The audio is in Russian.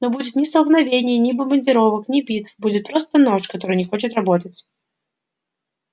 не будет ни столкновений ни бомбардировок ни битв будет просто нож который не хочет работать